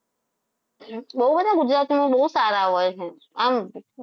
બહુ બધા ગુજરાતીમાં બહુ સારા હોય છે આમ